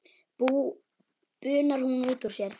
bunar hún út úr sér.